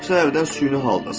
Bu səbəbdən süni haldasan.